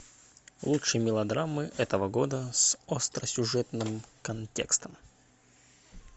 лучшие мелодрамы этого года с остросюжетным контекстом